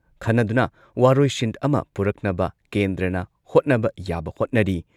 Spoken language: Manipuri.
ꯈꯟꯅꯗꯨꯅ ꯋꯥꯔꯣꯏꯁꯤꯟ ꯑꯃ ꯄꯨꯔꯛꯅꯕ ꯀꯦꯟꯗ꯭ꯔꯅ ꯍꯣꯠꯅꯕ ꯌꯥꯕ ꯍꯣꯠꯅꯔꯤ꯫